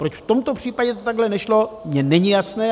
Proč v tomto případě to takhle nešlo, mně není jasné.